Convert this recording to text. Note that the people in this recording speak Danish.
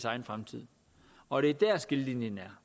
egen fremtid og det er dér skillelinjen